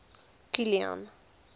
kilian